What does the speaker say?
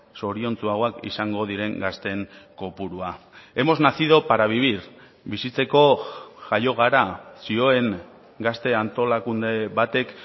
zoriontsuagoak izango diren gazteen kopurua hemos nacido para vivir bizitzeko jaio gara zioen gazte antolakunde batek